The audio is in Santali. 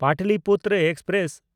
ᱯᱟᱴᱞᱤᱯᱩᱛᱨᱚ ᱮᱠᱥᱯᱨᱮᱥ